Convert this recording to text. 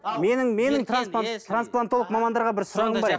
менің менің трансплантолог мамандарға бір сұрағым бар еді